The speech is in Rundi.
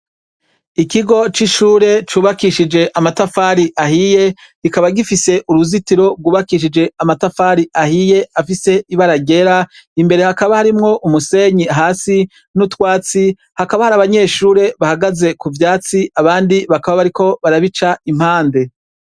Ikigo c'ishure cubakishijwe amatafari ahiye ,kikaba gifise uruzitiro rwubakishije amatafari ahiye afise ibara ryera imbere Hakaba harimwo umusenyi hasi nutwatsi hakaba hari abanyeshure bahagaze kuvyatsi abandi bakaba bariko barabica impande.